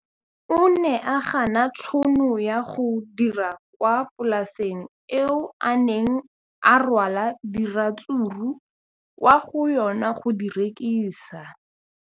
O ne a gana tšhono ya go dira kwa polaseng eo a neng rwala diratsuru kwa go yona go di rekisa.